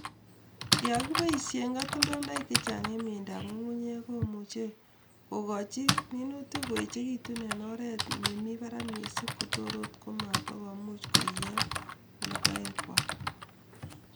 Yon kipoishen katoldoilaik chechang eng mieindoab ngungunyek komuchei kokochi minutik koechekitu en oret nemi barak mising kotoret komatokoiyo logoekwai.